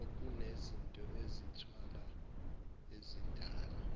okunezinto ezithwala ezidala